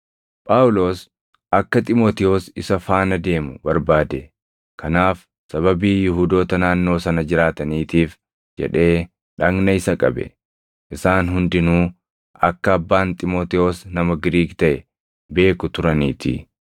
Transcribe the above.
Phaawulos akka Xiimotewos isa faana deemu barbaade; kanaaf sababii Yihuudoota naannoo sana jiraataniitiif jedhee dhagna isa qabe; isaan hundinuu akka abbaan Xiimotewos nama Giriik taʼe beeku turaniitii.